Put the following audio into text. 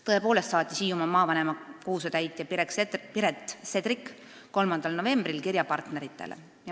" Tõepoolest saatis Hiiumaa maavanema kohusetäitja Piret Sedrik 3. novembril kirja partneritele.